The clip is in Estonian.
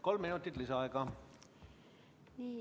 Kolm minutit lisaaega.